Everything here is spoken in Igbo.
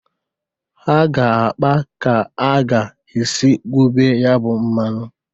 Ha ga-akpa ka a ga-esi gwube ya bụ mmanụ.